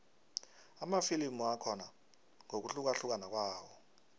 amafilimu akhona ngokuhlukahlukana kwawo